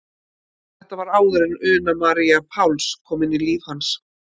Þetta var áður en Una María Páls kom inn í líf hans.